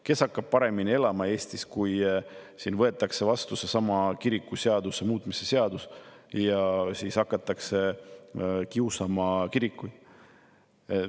Kes hakkab paremini elama Eestis, kui võetakse vastu seesama kirikute seaduse muutmise seadus ja siis hakatakse kiusama kirikuid?